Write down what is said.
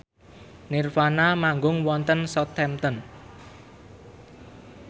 nirvana manggung wonten Southampton